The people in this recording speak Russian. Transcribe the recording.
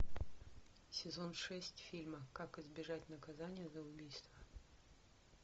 сезон шесть фильма как избежать наказания за убийство